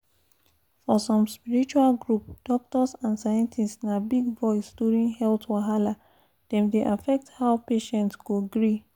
for some spiritual group doctors and scientists na big voice during health wahala — dem dey affect how patient go gree.